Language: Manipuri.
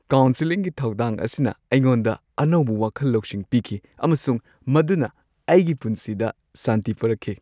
ꯀꯥꯎꯟꯁꯦꯂꯤꯡꯒꯤ ꯊꯧꯗꯥꯡ ꯑꯁꯤꯅ ꯑꯩꯉꯣꯟꯗ ꯑꯅꯧꯕ ꯋꯥꯈꯜ-ꯂꯧꯁꯤꯡ ꯄꯤꯈꯤ ꯑꯃꯁꯨꯡ ꯃꯗꯨꯅ ꯑꯩꯒꯤ ꯄꯨꯟꯁꯤꯗ ꯁꯥꯟꯇꯤ ꯄꯨꯔꯛꯈꯤ꯫